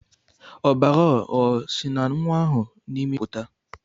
Ọbara o nwa ahụ n'imi pụta?